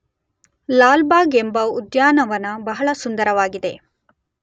ಲಾಲ್ಬಾಗ್ ಎಂಬ ಉದ್ಯಾನವನ ಬಹಳ ಸುಂದರವಾಗಿದೆ.